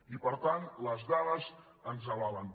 i per tant les dades ens avalen